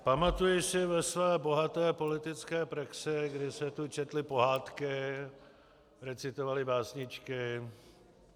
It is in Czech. Pamatuji si ve své bohaté politické praxi, kdy se tu četly pohádky, recitovaly básničky.